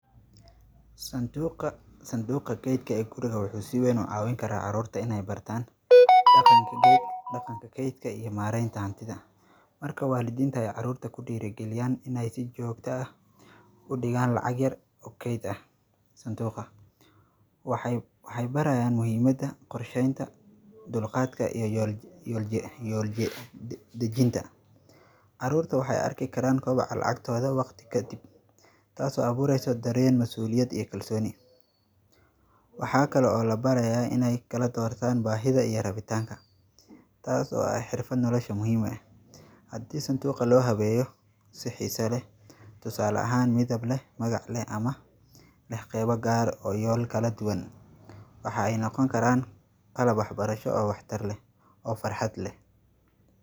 Sanduuqa sanduuqa keydka ah ee guriga wuxuu si wayn u caawin karaa carruurta inay bartaan, dhaqanka keyd, dhaqanka keydka iyo maaraynta hantida. Marka waalidiintu ay carruurta ku dhigayaan inay si joogto ah u dhigaan lacag yar oo keyd ah santuuqa. Waxay barayaan muhiimada qorsheynta, dulqaadka iyo yolja yolja yolje dajinta. Carruurta waxay arki karaan kobac lacagtoda waqti ka dib. Taasoo abuuraysa dareen mas'uuliyad iyo kalsooni, waxaa kale oo la barayaa inay kala doorataan baahida iyo rabitaanka taas oo ay xirfadan nolosha muhiim ah. Haddii santuuqa loo habeeyo si xiiso leh, tusaale ahaan midable magaale ama lexqeeba gaar oo yool kala duwan, waxa ay noqon karaan kala baxbarasho oo wakhtar leh oo farxad leh.